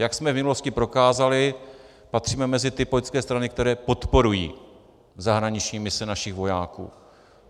Jak jsme v minulosti prokázali, patříme mezi ty politické strany, které podporují zahraniční mise našich vojáků.